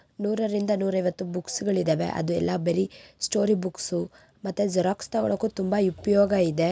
ನೂರರಿಂದ ನೂರು ಐವತ್ತು ಬುಕ್ಸ್ ಗಳು ಇದಾವೆ ಅದು ಎಲ್ಲಾ ಬರೀ ಸ್ಟೋರಿ ಬುಕ್ಸು ಮತ್ತೆ ಜೆರಾಕ್ಸ್ ತಗೋಳಕ್ಕೂ ತುಂಬಾ ಉಪಯೋಗ ಇದೆ.